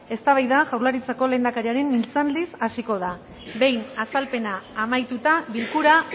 eztabaida jaurlaritzako lehendakariaren mintzaldiz hasiko da behin azalpena amaituta bilkura